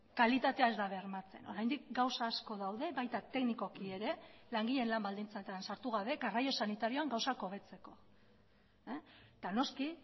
kalitatea ez da bermatzen oraindik gauza asko daude baita teknikoki ere langileen lan baldintzetan sartu gabe garraio sanitarioan gauzak hobetzeko eta noski